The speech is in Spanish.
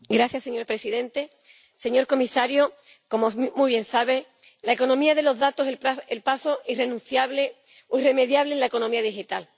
Señor presidente, señor comisario, como muy bien sabe, la economía de los datos es el paso irrenunciable o irremediable en la economía digital.